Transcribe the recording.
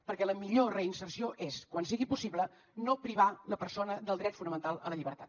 perquè la millor reinserció és quan sigui possible no privar la persona del dret fonamental a la llibertat